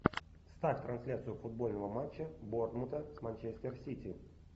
ставь трансляцию футбольного матча борнмута с манчестер сити